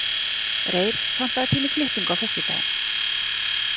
Reyr, pantaðu tíma í klippingu á föstudaginn.